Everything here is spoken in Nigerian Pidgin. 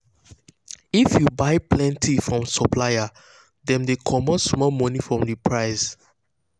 if you buy plenty from supplier dem dey comot small money for the price